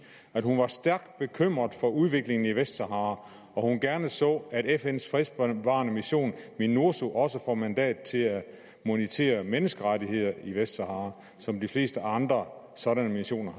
at hun var stærkt bekymret for udviklingen i vestsahara og at hun gerne så at fns fredsbevarende mission minurso også får mandat til at monitere menneskerettigheder i vestsahara som de fleste andre sådanne missioner